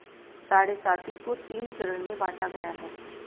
साढ़े साती को तीन चरण में बांटा गया है